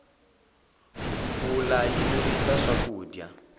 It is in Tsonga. mpfula yi mirisa swakudya